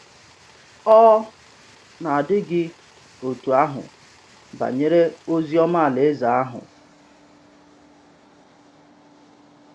Ọ̀ na-àdị gị otú ahụ banyere ozi ọma Alaeze ahụ?